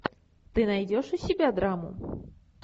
ты найдешь у себя драму